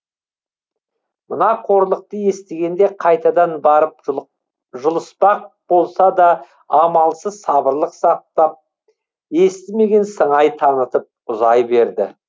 мына қорлықты естігенде қайтадан барып жұлыспақ болса да амалсыз сабырлық сақтап естімеген сыңай танытып ұзай берді